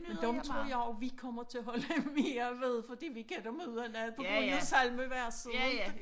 Men dem tror jeg jo vi kommer til at holde mere ved fordi vi kan dem udenad på grund af samleverset ikke